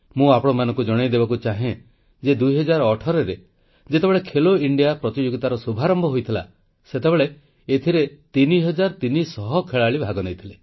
ମୁଁ ଆପଣମାନଙ୍କୁ ଜଣାଇଦେବାକୁ ଚାହେଁ ଯେ 2018ରେ ଯେତେବେଳେ ଖେଲୋ ଇଣ୍ଡିଆ ପ୍ରତିଯୋଗିତାର ଶୁଭାରମ୍ଭ ହୋଇଥିଲା ସେତେବେଳେ ଏଥିରେ 3300 ଖେଳାଳି ଭାଗ ନେଇଥିଲେ